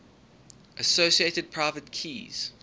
associated private keys